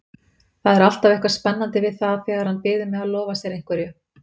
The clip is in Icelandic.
Það er alltaf eitthvað spennandi við það þegar hann biður mig að lofa sér einhverju.